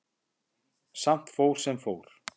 Samt fór sem fór.